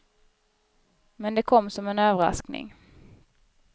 Men det kom som en överraskning.